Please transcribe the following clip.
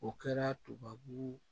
O kɛra tubabu